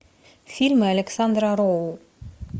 фильмы александра роу